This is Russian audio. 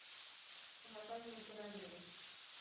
вокальные параллели